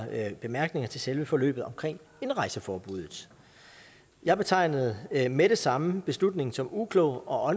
bemærkninger til selve forløbet omkring indrejseforbuddet jeg betegnede med det samme beslutningen som uklog og